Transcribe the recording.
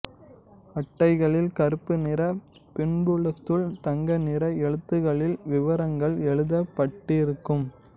அட்டைகளில் கருப்பு நிறப் பின்புலத்துள் தங்க நிற எழுத்துக்களில் விவரங்கள் எழுதப்பட்டிருக்கும்